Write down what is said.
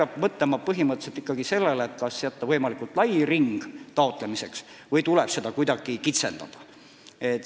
Põhimõtteliselt peab ikkagi mõtlema sellele, kas jätta võimalikult lai ring taotlemiseks või tuleb seda kuidagi kitsendada.